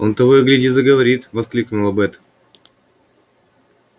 он того и гляди заговорит воскликнула бэт